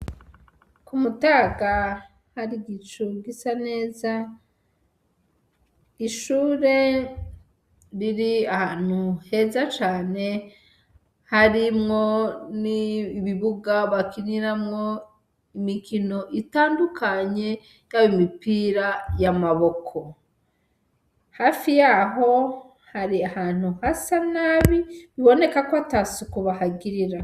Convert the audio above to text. Ku mutaga hari igico gisa neza ishure riri ahantu heza cane harimwo n'i bibuga bakiniramwo imikino itandukanye yabo imipira y'amaboko hafi yaho hari ahantu hasa nabi biboneka ko ata sukuba hagirira.